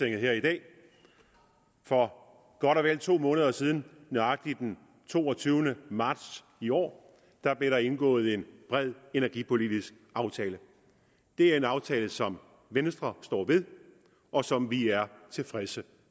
her i dag for godt og vel to måneder siden nøjagtigt den toogtyvende marts i år blev der indgået en bred energipolitisk aftale det er en aftale som venstre står ved og som vi er tilfredse